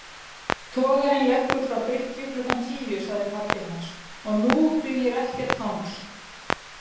Togarinn leggur frá bryggju klukkan tíu sagði pabbi hans, og nú dugir ekkert hangs